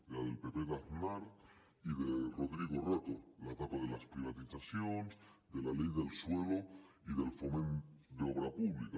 de la del pp d’aznar i de rodrigo rato l’etapa de les privatitzacions de la ley del suelo i del foment d’obra pública